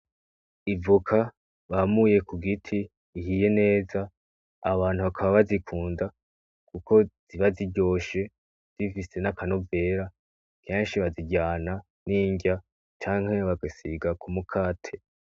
Ivoka bamuye ku giti ihiye neza abantu bakaba bazikunda kuko ziba ziryoshe zifise n'akanovera, kenshi baziryana n'inrya canke bagasiga k'umukate.